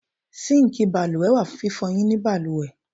Síǹkì balùwẹ̀ wà fún fífọyín nínu balùwẹ̀.